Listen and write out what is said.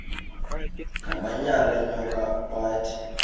ngamanyal enyoka bathi